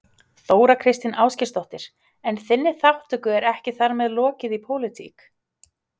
Þóra Kristín Ásgeirsdóttir: En þinni þátttöku er ekki þar með lokið í pólitík?